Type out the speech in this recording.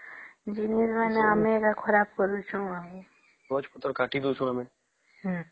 ଜମିର ମାନେ ଆମେ ମାନେ ଖରାପ କରୁଚୁ ଆଉ ଗଛ ପତ୍ର କାଟି ଦଉଚୁ ଆମେ